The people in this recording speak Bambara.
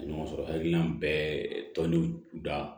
Ɲɔgɔn sɔrɔ hakilina bɛ tɔndenw da